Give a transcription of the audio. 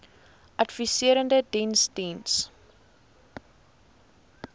adviserende diens diens